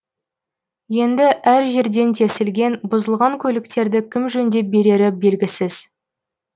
енді әр жерден тесілген бұзылған көліктерді кім жөндеп берері белгісіз